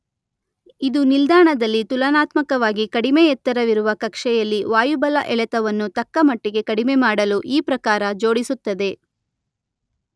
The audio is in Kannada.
ಇದು ನಿಲ್ದಾಣದಲ್ಲಿ ತುಲನಾತ್ಮಕವಾಗಿ ಕಡಿಮೆ ಎತ್ತರವಿರುವ ಕಕ್ಷೆಯಲ್ಲಿ ವಾಯುಬಲ ಎಳೆತವನ್ನು ತಕ್ಕ ಮಟ್ಟಿಗೆ ಕಡಿಮೆ ಮಾಡಲು ಈ ಪ್ರಕಾರ ಜೋಡಿಸುತ್ತದೆ.